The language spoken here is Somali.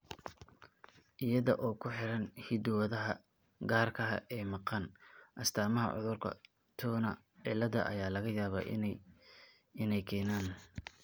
Iyada oo ku xidhan hiddo-wadaha gaarka ah ee maqan, astaamaha cudurka Turner cilaada ayaa laga yaabaa inay keenaan.